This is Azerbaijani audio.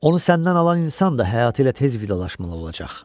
Onu səndən alan insan da həyatı ilə tez vidalaşmalı olacaq.